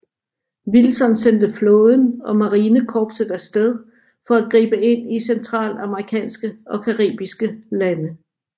Wilson sendte flåden og Marinekorpset af sted for at gribe ind i Centralamerikanske og caribiske lande